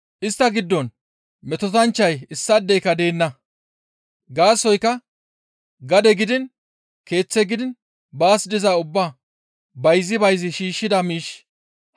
Istta giddon metotanchchay issaadeyka deenna; gaasoykka gade gidiin, keeththe gidiin baas dizaa ubbaa bayzi bayzi shiishshida miish,